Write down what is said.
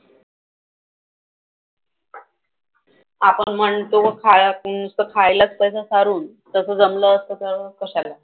आपण म्हणतो खायातून नुसतं खायलाच पैसा सारून तसं जमलं असतं तर कशाला.